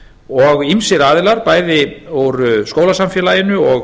og ýmsir aðilar bæði úr skólasamfélaginu og